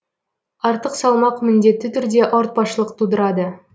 артық салмақ міндетті түрде ауыртпашылық тудырады